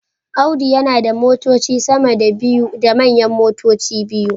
Audu yana da motoci sama da biyu da manyan motoci biyu